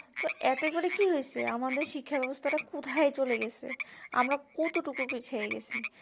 তো এতে করে কি হয়েছে আমাদের শিক্ষা ব্যবস্থা তা কোথায় চলে গেছে আমরা কতটুকু পিছিয়ে গেছি